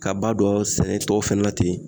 Ka ba don sɛnɛ tɔw fɛnɛ la ten